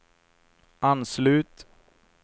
anslut